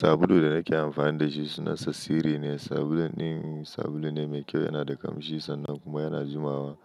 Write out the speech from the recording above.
Sabulu da nake amfani da shi suna sa sirri ne. Sabulun ɗin sabulu ne mai kyau, yana da ƙamshi sannan kuma yana jumawa.